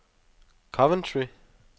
Coventry